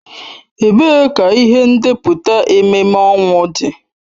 Ebee ka ihe ndepụta ememme ọnwụ dị?